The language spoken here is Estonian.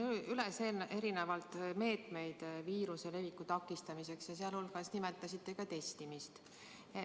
Loetlesite siin meetmeid viiruse leviku takistamiseks ja nimetasite ka testimist.